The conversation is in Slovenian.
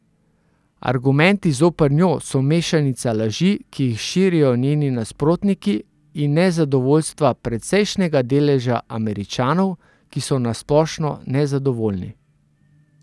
Argumenti zoper njo so mešanica laži, ki jih širijo njeni nasprotniki, in nezadovoljstva precejšnjega deleža Američanov, ki so na splošno nezadovoljni.